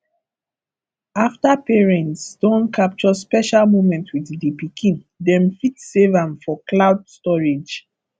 after parents don capture special moment with di pikin dem fit save am for cloud storage